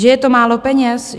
Že je to málo peněz?